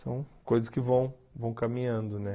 São coisas que vão vão caminhando, né?